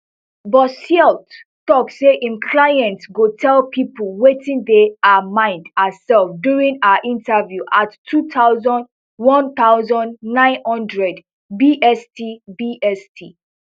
bosseult tok say im client go tell pipo wetin dey her mind herself during her interview at two thousand one thousand, nine hundred bst bst